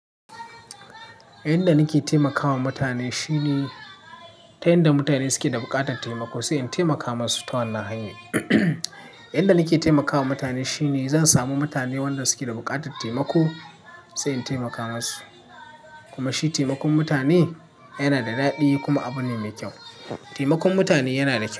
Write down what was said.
Yanda nake taimakawa mutane shine ta yanda mutane suke da buƙatar taimako sai in taimaka musu ta wannan hanya. Yanda nake taimakawa mutane shine zan samu mutane wanda suke da buƙatar taimako sai in taimaka musu. Kuma shi taimakon mutane yana da daɗi kuma abu ne mai kyau. Taimakon mutane yana da kyau.